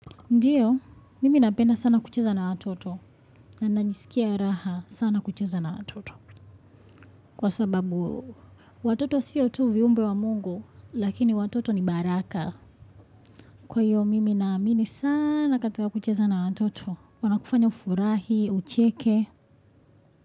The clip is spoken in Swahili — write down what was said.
Ndiyo, mimi napenda sana kucheza na watoto, na najisikia raha sana kucheza na watoto. Kwa sababu, watoto siyo tu viumbe wa Mungu, lakini watoto ni baraka. Kwa hiyo, mimi naamini sana katika kucheza na watoto, wanakufanya ufurahi, ucheke.